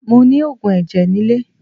Mo ni oògùn ẹ̀jẹ̀ nilé